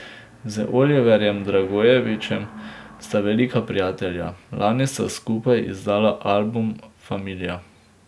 Z Oliverjem Dragojevićem sta velika prijatelja, lani sta skupaj izdala album Familija.